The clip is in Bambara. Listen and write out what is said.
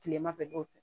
Kilema fɛ dɔw tɛ